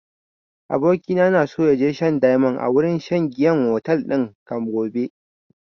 Abokina na so ya je shan diamond a wurin shan giyan otel din can gobe